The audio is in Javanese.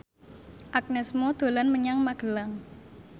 Agnes Mo dolan menyang Magelang